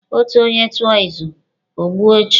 Otu onye tụọ izu, o gbue ọchụ.